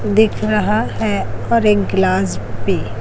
दिख रहा है और एक गिलास भी--